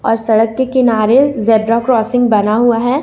और सड़क के किनारे ज़ेबरा क्रॉसिंग बना हुआ है ।